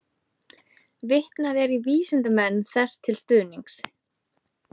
Vitnað er í vísindamenn þessu til stuðnings.